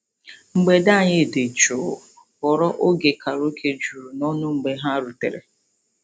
Mgbede anyị dị jụụ ghọrọ oge karaoke juru n'ọṅụ mgbe ha rutere.